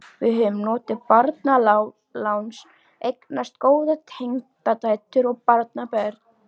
Við höfum notið barnaláns, eignast góðar tengdadætur og barnabörn.